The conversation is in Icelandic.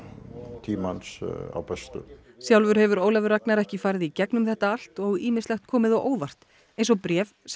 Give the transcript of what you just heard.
tímans á Bessastöðum sjálfur hefur Ólafur Ragnar ekki farið í gegnum þetta allt og ýmislegt komið á óvart eins og bréf sem